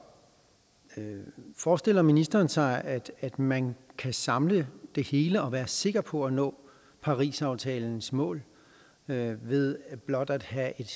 forestiller ministeren sig at man kan samle det hele og være sikker på at nå parisaftalens mål ved blot at have et